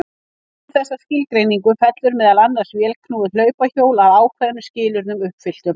Undir þessa skilgreiningu fellur meðal annars vélknúið hlaupahjól að ákveðnum skilyrðum uppfylltum.